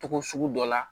Togo sugu dɔ la